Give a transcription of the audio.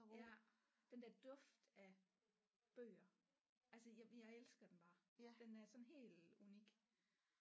Ja den der duft af bøger altså jeg jeg elsker den bare den er sådan helt unik